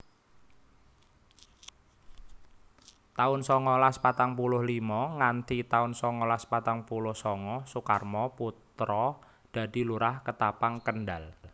taun songolas patang puluh limo nganthi taun songolas patang puluh sanga Sukarmo Putra dadi Lurah Ketapang Kendal